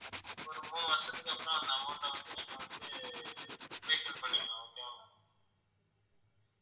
ஒரு மூணு வருஷத்துக்கு அப்புறம் அந்த amount அ வந்து நீங்க வந்து refill பண்ணிக்கலாம் okay வா ma'am